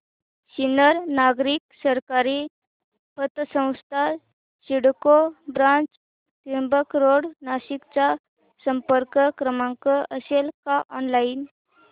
सिन्नर नागरी सहकारी पतसंस्था सिडको ब्रांच त्र्यंबक रोड नाशिक चा संपर्क क्रमांक असेल का ऑनलाइन